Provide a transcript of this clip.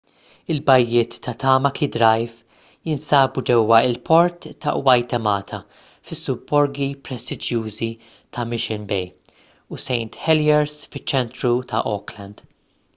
il-bajjiet ta' tamaki drive jinsabu ġewwa l-port ta' waitemata fis-subborgi prestiġjużi ta' mission bay u st heliers fiċ-ċentru ta' auckland